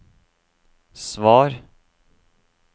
svar